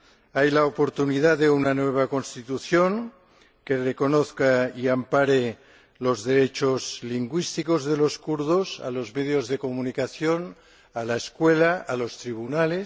Hay la oportunidad de una nueva Constitución que reconozca y ampare los derechos lingüísticos de los kurdos en los medios de comunicación, en la escuela y en los tribunales